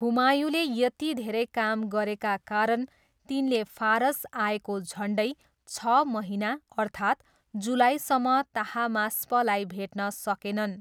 हुमायूँले यति धेरै काम गरेका कारण तिनले फारस आएको झन्डै छ महिना, अर्थात् जुलाईसम्म ताहमास्पलाई भेट्न सकेनन्।